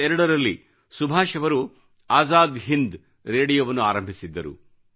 1942 ರಲ್ಲಿ ಸುಭಾಷ್ ಅವರು ಆಜಾದ್ ಹಿಂದ್ ರೇಡಿಯೋವನ್ನು ಆರಂಭಿಸಿದ್ದರು